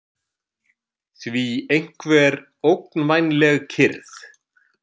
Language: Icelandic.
því einhver ógnvænleg kyrrð.